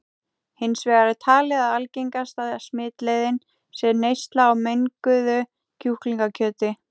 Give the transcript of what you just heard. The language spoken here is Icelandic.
Hins vegar er talið að algengasta smitleiðin sé neysla á menguðu kjúklingakjöti.